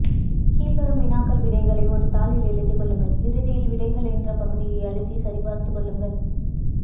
கீழ்வரும் வினாக்கள் விடைகளை ஒரு தாளில் எழுதிக்கொள்ளுங்கள் இறுதியில் விடைகள் என்ற பகுதியை அழுத்தி சரிப்பார்த்து கொள்ளுங்கள்